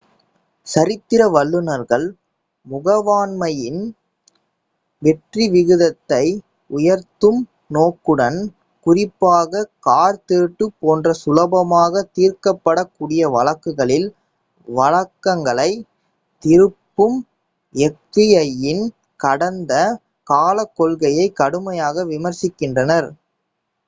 சரித்திர வல்லுனர்கள் முகவாண்மையின் வெற்றி விகிதத்தை உயர்த்தும் நோக்குடன் குறிப்பாக கார் திருட்டு போன்ற சுலபமாக தீர்க்கப்படக் கூடிய வழக்குகளில் வளங்களைத் திருப்பும் எஃப்பிஐயின் கடந்த காலக் கொள்கையை கடுமையாக விமரிசிக்கின்றனர்